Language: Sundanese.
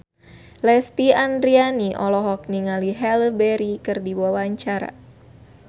Lesti Andryani olohok ningali Halle Berry keur diwawancara